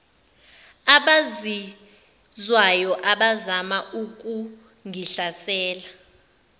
abazizwayo abazama ukungihlasela